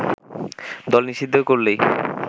দল নিষিদ্ধ করলেই